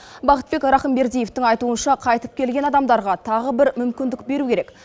бақытбек рахымбердиевтің айтуынша қайтып келген адамдарға тағы бір мүмкіндік беру керек